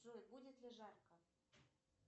джой будет ли жарко